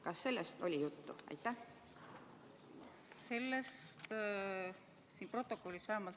Kas sellest oli juttu?